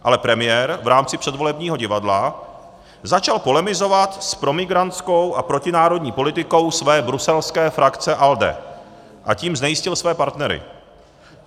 Ale premiér v rámci předvolebního divadla začal polemizovat s promigrantskou a protinárodní politikou své bruselské frakce ALDE, a tím znejistil své partnery.